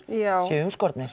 séu umskornir